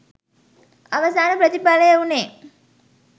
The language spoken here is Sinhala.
අවසාන ප්‍රතිඵලය වූණේ